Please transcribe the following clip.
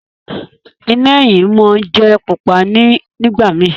Iná eyín món jé pupa nìgbà mí